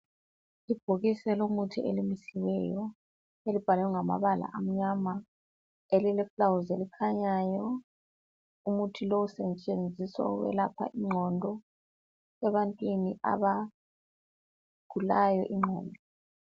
Ibhokisi elomuthi elimisiweyo elibhalwe ngamabala amnyama elileluba elikhanyayo. Umuthi lowu siwusebenzisa ukwelapha ingqondo ebantwini abagulayo ingqondo.